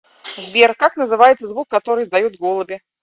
сбер как называется звук который издают голуби